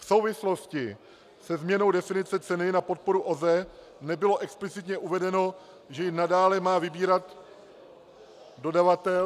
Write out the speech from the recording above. V souvislosti se změnou definice ceny na podporu OZE nebylo explicitně uvedeno, že ji nadále má vybírat dodavatel -